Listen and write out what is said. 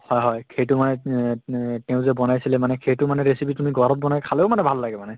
হয় হয় সেইটো মানে তেওঁ যে বনাইছিলে মানে সেইটো মানে recipe তুমি ঘৰত বনাই খালেও মানে ভাল লাগে মানে